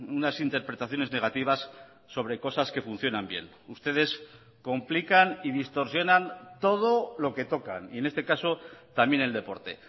unas interpretaciones negativas sobre cosas que funcionan bien ustedes complican y distorsionan todo lo que tocan y en este caso también el deporte